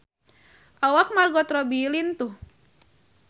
Awak Margot Robbie lintuh